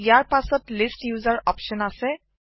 ইয়াৰ পাচত list user option আছে